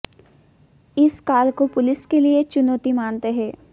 इस काल को पुलिस के लिए चुनौती मानते है